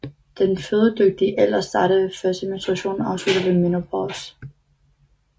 Den fødedygtige alder starter ved første menstruation og afslutter ved menopause